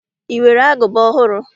I nwere agụba ọhụrụ?